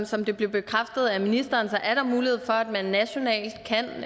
som det blev bekræftet af ministeren er der mulighed for at man nationalt kan